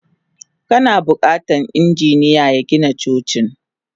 Kana bukatan injiniya ya Gina Cocin.